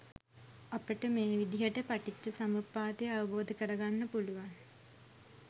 අපට මේ විදිහට පටිච්චසමුප්පාදය අවබෝධ කරගන්න පුළුවන්